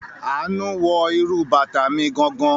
Àánú wọ irú bàtà mi gangan.